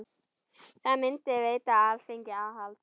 Það myndi veita Alþingi aðhald.